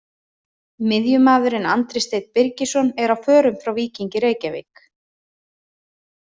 Miðjumaðurinn Andri Steinn Birgisson er á förum frá Víkingi Reykjavík.